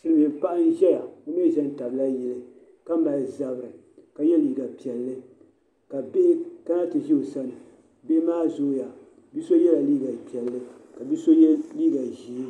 Silmiin paɣa n ʒɛya o mii ʒɛ n tabila yili ka mali zabiri ka yɛ liiga piɛlli ka bihi kana ti ʒɛ o sani bihi kaa zooya bia so yɛla liiga piɛlli ka bia so yɛ liiga ʒiɛ